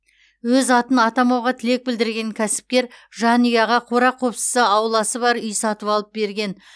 өз атын атамауға тілек білдірген кәсіпкер жанұяға қора қопсысы ауласы бар үй сатып алып берген